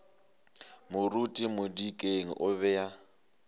moruti modikeng o be a